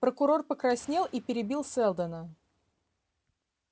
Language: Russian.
прокурор покраснел и перебил сэлдона